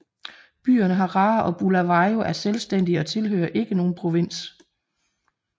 Byerne Harare og Bulawayo er selvstændige og tilhører ikke nogen provins